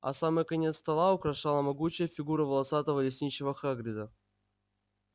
а самый конец стола украшала могучая фигура волосатого лесничего хагрида